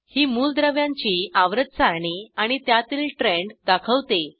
ही मूलद्रव्यांची आवर्त सारणी आणि त्यातील ट्रेंड दाखवते